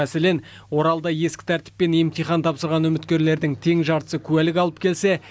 мәселен оралда ескі тәртіппен емтихан тапсырған үміткерлердің тең жартысы куәлік алып келсе